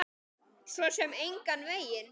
Svo sem engan veginn